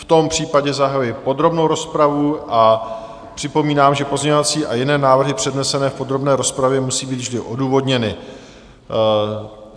V tom případě zahajuji podrobnou rozpravu a připomínám, že pozměňovací a jiné návrhy přednesené v podrobné rozpravě musí být vždy odůvodněny.